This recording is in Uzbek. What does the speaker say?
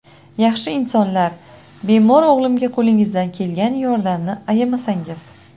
Yaxshi insonlar, bemor o‘g‘limga qo‘lingizdan kelgan yordamni ayamasangiz.